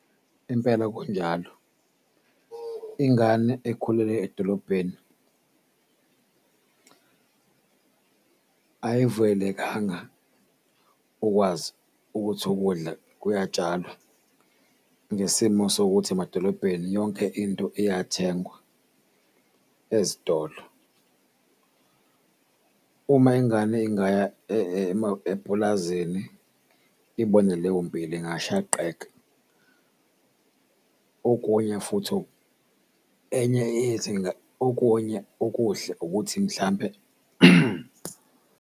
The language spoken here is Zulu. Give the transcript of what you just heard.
Impela kunjalo, ingane ekhulele edolobheni ayivuyelekanga ukwazi ukuthi ukudla kuyatshalwa ngesimo sokuthi emadolobheni yonke into iyathengwa ezitolo. Uma ingane ingaya epulazini ibone leyo mpilo ingashaqeka. Okunye futhi, enye izinga okunye okuhle ukuthi mhlampe.